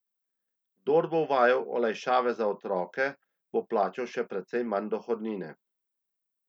Kdor bo uveljavljal olajšave za otroke, bo plačal še precej manj dohodnine.